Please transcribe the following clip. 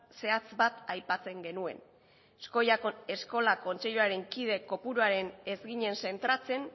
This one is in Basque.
zehatz bat aipatzen genuen eskola kontseiluaren kide kopuruan ez ginen zentratzen